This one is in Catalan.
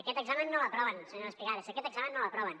aquest examen no l’aproven senyora espigares aquest examen no l’aproven